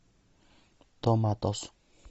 томатос